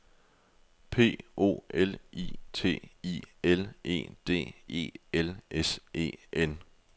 P O L I T I L E D E L S E N